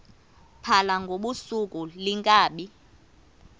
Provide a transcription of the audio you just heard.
phala ngobusuku iinkabi